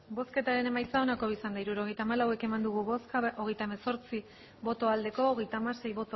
hirurogeita hamalau eman dugu bozka hogeita hemezortzi bai hogeita hamasei